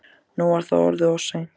Nú var það orðið of seint.